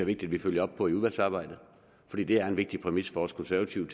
vigtigt vi følger op på i udvalgsarbejdet fordi det er en vigtig præmis for os konservative